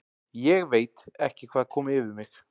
ÉG VEIT ekki hvað kom yfir mig.